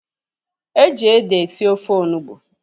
Eji ede esi ofe onugbu